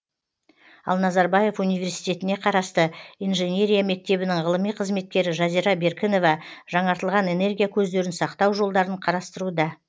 ал назарбаев университетіне қарасты инженерия мектебінің ғылыми қызметкері жазира беркінова жаңартылған энергия көздерін сақтау жолдарын қарастыруда